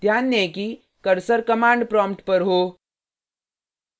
ध्यान दें कि कर्सर command prompt पर हो